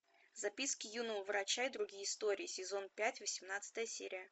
записки юного врача и другие истории сезон пять восемнадцатая серия